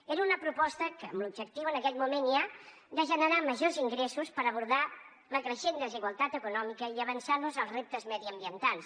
era una proposta amb l’objectiu en aquell moment ja de generar majors ingressos per abordar la creixent desigualtat econòmica i avançar nos als reptes mediambientals